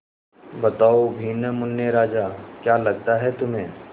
बताओ भी न मुन्ने राजा क्या लगता है तुम्हें